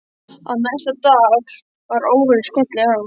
En næsta dag var óveðrið skollið á.